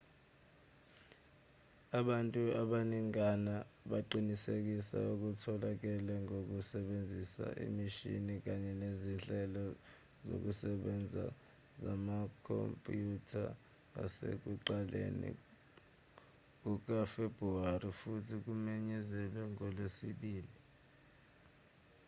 abantu abaningana baqinisekise okutholakele ngokusebenzisa imishini kanye nezinhlelo zokusebenza zamakhompyutha ngasekuqaleni kukafebruwari futhi kumenyezelwe ngolwesibili